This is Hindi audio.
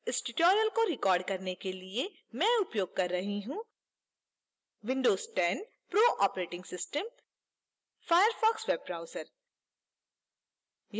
इस tutorial को record करने के लिए मैं उपयोग कर रही हूँ